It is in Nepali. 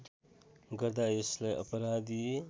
गर्दा यसलाई अपराधी